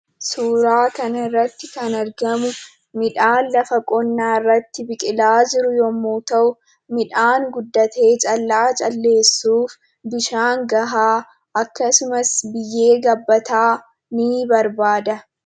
Suuraa kanarratti kan argamu midhaan lafa qonnaarratti biqilaa jiru yommuu ta'u midhaan guddatee callaa calleessuuf bishaan gahaa akkasumas biyyee gabbataa nii barbaada.